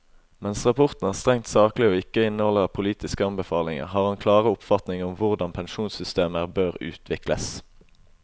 Mens rapporten er strengt saklig og ikke inneholder politiske anbefalinger, har han klare oppfatninger om hvordan pensjonssystemer bør utvikles.